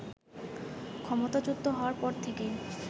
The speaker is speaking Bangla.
ক্ষমতাচ্যুত হওয়ার পর থেকেই